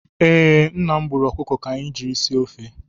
Ee, nna m gbùrù ọkụkọ ka anyị ji sie ofe